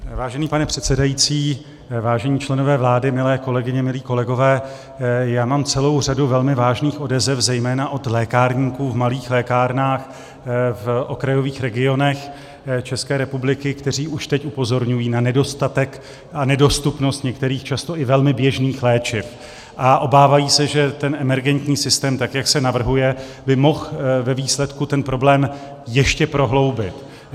Vážený pane předsedající, vážení členové vlády, milé kolegyně, milí kolegové, já mám celou řadu velmi vážných odezev zejména od lékárníků v malých lékárnách v okrajových regionech České republiky, kteří už teď upozorňují na nedostatek a nedostupnost některých často i velmi běžných léčiv a obávají se, že ten emergentní systém, tak jak se navrhuje, by mohl ve výsledku ten problém ještě prohloubit.